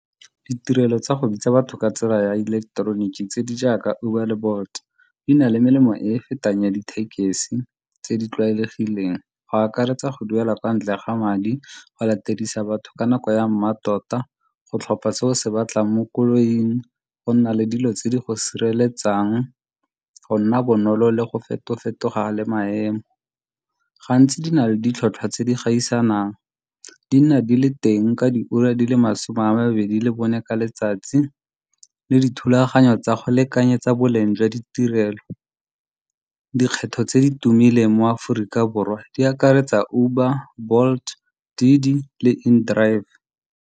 Ditirelo tsa go bitsa batho ka tsela ya ileketeroniki tse di jaaka Uber le Bolt-e di na le melemo e e fetang ya dithekesi tse di tlwaelegileng go akaretsa go duela kwa ntle ga madi, go latedisa batho ka nako ya mmatota, go tlhopha se o se batlang mo koloing, go nna le dilo tse di go sireletsang, go nna bonolo le go feto-fetoga le maemo. Gantsi di na le ditlhotlhwa tse di gaisanang di nna di le teng ka di ura di le masome a mabedi le bone ka letsatsi le dithulaganyo tsa go lekanyetsa boleng jwa ditirelo. Dikgetho tse di tumileng mo Aforika Borwa di akaretsa Uber, Bolt le In-drive.